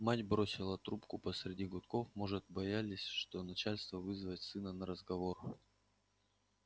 мать бросила трубку посреди гудков может боялась при начальстве вызывать сына на разговор